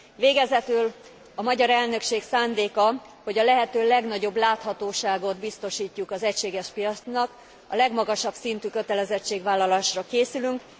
Végezetül a magyar elnökség szándéka, hogy a lehető legnagyobb láthatóságot biztosítjuk az egységes piacnak, a legmagasabb szintű kötelezettségvállalásra készülünk.